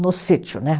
No sítio, né?